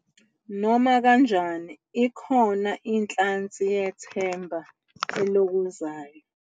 Nomakanjani, ikhona inhlansi yethemba elokozayo.